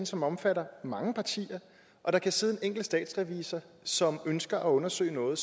som omfatter mange partier og der kan sidde en enkelt statsrevisor som ønsker at undersøge noget